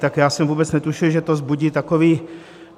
Tak já jsem vůbec netušil, že to vzbudí takový...